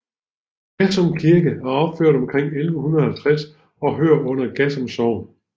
Gassum Kirke er opført omkring 1150 og hører under Gassum Sogn